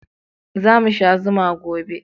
Za mu sha zuma gobe